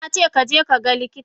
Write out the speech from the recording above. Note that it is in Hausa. Nace kaje kaga likita!